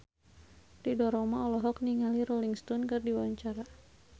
Ridho Roma olohok ningali Rolling Stone keur diwawancara